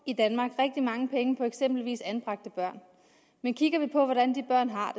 i danmark rigtig mange penge på eksempelvis anbragte børn men kigger vi på hvordan de børn har